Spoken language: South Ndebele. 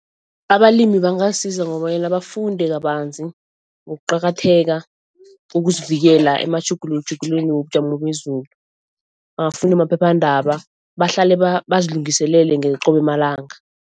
Abalimi bangasiza ngobanyana bafunde kabanzi ngokuqakatheka kokuzivikela amatjhugutjhugulweni wobujamo bezulu. Bangafunda amaphephandaba bahlale bazilungiselele qobe malanga.